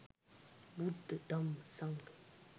බුද්ධ, ධම්ම, සංඝ,